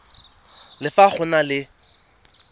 le fa go na le